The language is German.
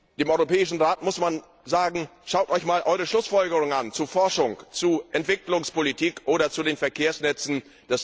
Dem Europäischen Rat muss man sagen Schaut euch mal eure Schlussfolgerungen zu Forschung, zu Entwicklungspolitik oder zu den Verkehrsnetzen an!